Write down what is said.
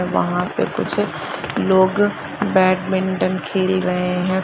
वहां पर कुछ लोग बैटमिंटन खेल रहे है।